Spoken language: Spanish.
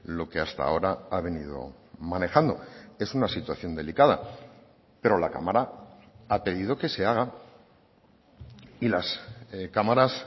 lo que hasta ahora ha venido manejando es una situación delicada pero la cámara ha pedido que se haga y las cámaras